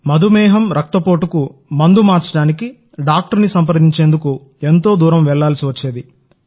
మధుమేహం రక్తపోటుకు మందు మార్చడానికి డాక్టర్ ని సంప్రదించేందుకు ఎంతోదూరం వెళ్లాల్సి వస్తుంది